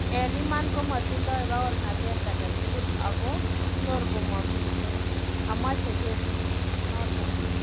En iman komatindoi paornatet aketukul ako tor komamiten. Amache kesit noton